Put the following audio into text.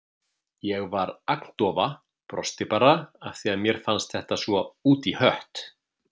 Ég var agndofa, brosti bara af því að mér fannst þetta svo út í hött.